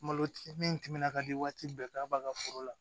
Malo ti min timinan ka di waati bɛɛ k'a b'a ka foro la